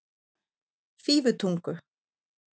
Fífutungu